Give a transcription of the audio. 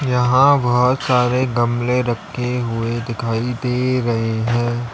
यहां बहोत सारे गमले रखे हुए दिखाई दे रहे है।